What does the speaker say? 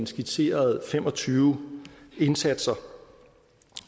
skitseret fem og tyve indsatser og